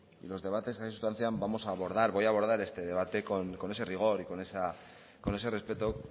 y los debates que aquí se sustancian vamos a abordar voy a abordar este debate con ese rigor y con ese respeto